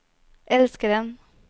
elskeren